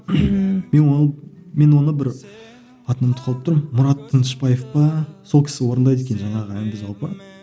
мен ол мен оны бір атын ұмытып қалып тұрмын мұрат тынышбаев па сол кісі орындайды екен жаңағы әнді жалпы